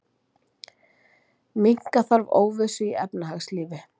Minnka þarf óvissu í efnahagslífi